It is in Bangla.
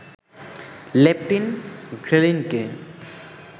লেপটিন, ঘ্রেলিনকে